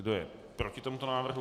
Kdo je proti tomuto návrhu?